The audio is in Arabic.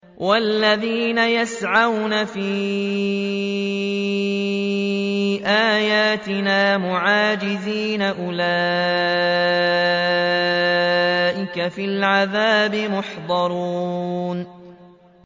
وَالَّذِينَ يَسْعَوْنَ فِي آيَاتِنَا مُعَاجِزِينَ أُولَٰئِكَ فِي الْعَذَابِ مُحْضَرُونَ